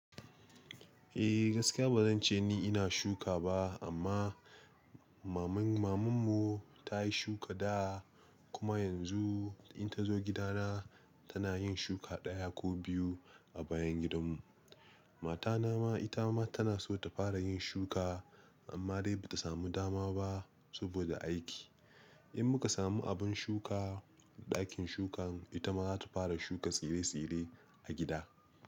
Eh gaskiya bazan ce ni ina shuka ba amma maman maman mu ta yi shuka dawa kuma yanzu in ta zo gidana tana yin shuka ɗaya ko biyu a bayan gidanmu. Matana ma ita ma tana so ta fara yin shuka amma dai ba ta samu dama ba saboda aiki. In muka samu abin shuka ɗakin shukan ita ma za ta fara shuka tsire-tsire a gida.